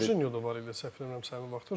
Jorjinyo da var idi səhv eləmirəmsə o vaxtda.